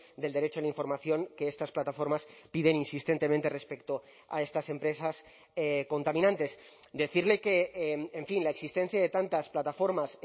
del derecho a la información que estas plataformas piden insistentemente respecto a estas empresas contaminantes decirle que en fin la existencia de tantas plataformas